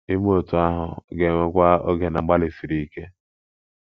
Ime otú ahụ ga - ewekwa oge na mgbalị siri ike.